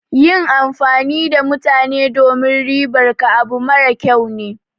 Yin amfani da mutane domin ribar ka abu mara kyau ne.